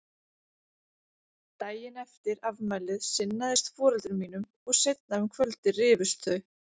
Daginn eftir afmælið sinnaðist foreldrum mínum og seinna um kvöldið rifust þau.